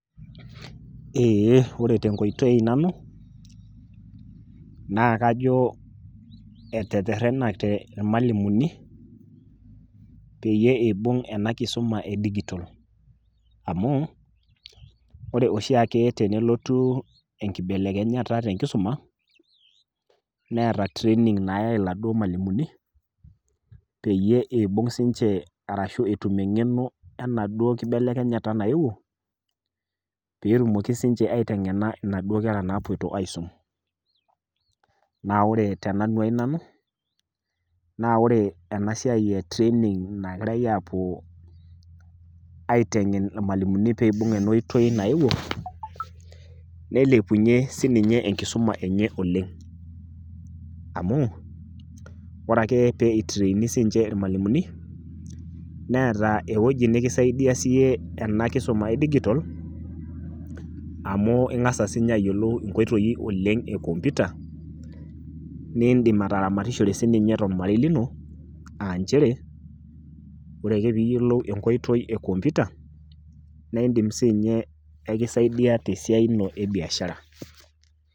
Ee ore tenkoitoi nanu, naa kajo eretenate ilalimni peyiee eibung' ena kisuma e digital. Amuu, ore oshiake tenolotu enkibelekenyata tenkisoma neeta training nayai ilmalimuni peyie etum sii ninche engeno enaduoo kibelekenyata nayieuo, pee etum sii ninche aitengena naduoo kera naagira aiteng'en, naa ore tenanu ai nanu naa ore training naapuo aitengen ilmalimuni pee eibung ena oitoi naayewuo meilepunyie sii ninje enkisuma enye oleng amuu ore ake pee eitureeni sii ninje ilmalimuni neeta ewueji nikintabaiki sii iyie ena kisuma e digital amuu ingas dii ninye ayiolou nkoitoi enkompyuta naa indim sii ataramatishore sii ninye tolmarei lino aa nchere ore ake pee iyiolou enkoitoi enkomputa naa indim sii ninye kisaidia tebiashara ino.